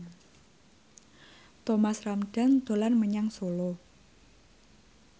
Thomas Ramdhan dolan menyang Solo